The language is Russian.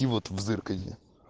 в зазеркалье